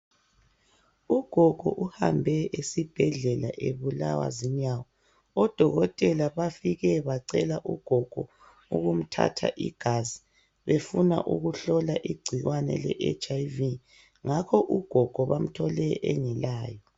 Ugogo uhambe esibhedlela ebulawa zinyawo. Odokotela bafike bacela ugogo ukumthatha igazi befuna ukumhlola igcikwane leHIV, ngakho ugogo bamthole engelalo.